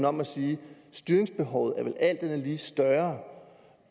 om og sige at styringsbehovet vel alt andet lige er større